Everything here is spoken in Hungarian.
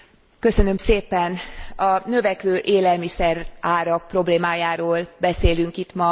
A növekvő élelmiszerárak problémájáról beszélünk itt ma, az Európai Parlamentben.